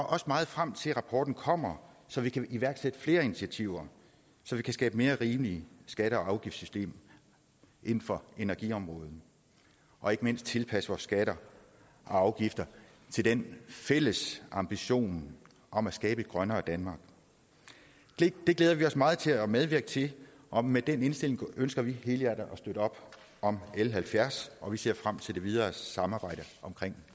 også meget frem til at rapporten kommer så vi kan iværksætte flere initiativer så vi kan skabe mere rimelige skatte og afgiftssystemer inden for energiområdet og ikke mindst tilpasse vores skatter og afgifter til den fælles ambition om at skabe et grønnere danmark det glæder vi os meget til at medvirke til og med den indstilling ønsker vi helhjertet at støtte op om l halvfjerds og vi ser frem til det videre samarbejde om